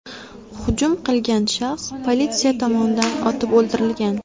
Hujum qilgan shaxs politsiya tomonidan otib o‘ldirilgan.